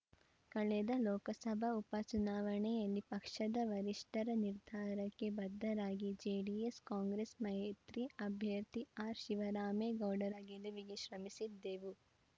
ಕಳೆದ ಲೋಕಸಭಾ ಉಪ ಚುನಾವಣೆಯಲ್ಲಿ ಪಕ್ಷದ ವರಿಷ್ಠರ ನಿರ್ಧಾರಕ್ಕೆ ಬದ್ಧರಾಗಿ ಜೆಡಿಎಸ್‌ಕಾಂಗ್ರೆಸ್‌ ಮೈತ್ರಿ ಅಭ್ಯರ್ಥಿ ಆರ್‌ ಶಿವರಾಮೇಗೌಡರ ಗೆಲುವಿಗೆ ಶ್ರಮಿಸಿದ್ದೆವು